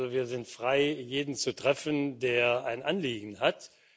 Also wir sind frei, jeden zu treffen, der ein Anliegen hat.